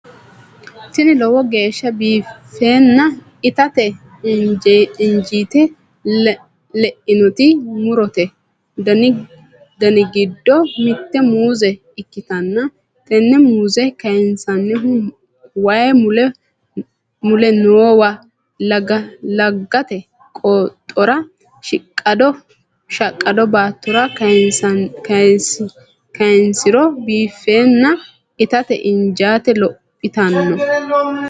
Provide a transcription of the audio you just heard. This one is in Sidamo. Tini lowo geeshsa biiffenna itate injite leinnoti murote dani giddo mitte muuze ikkitanna tenne muuze kayinsannihu way mule noowa laggate qooxora shaqqado baattora kayinsiro biiffenna itate injite lophitanno.